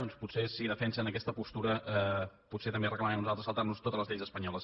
doncs potser si defensen aquesta postura potser també reclamarem nosaltres saltar nos totes les lleis espanyoles